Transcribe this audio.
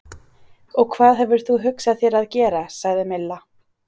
Og hvað hefur þú hugsað þér að gera? sagði Milla.